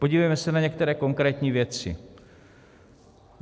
Podívejme se na některé konkrétní věci.